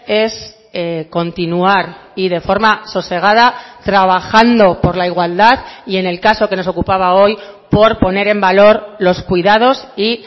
es continuar y de forma sosegada trabajando por la igualdad y en el caso que nos ocupaba hoy por poner en valor los cuidados y